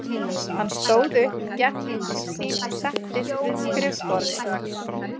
Hann stóð upp, gekk inn til sín og settist við skrifborðið.